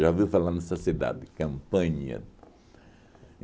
Já ouvi falar nessa cidade, Campanha.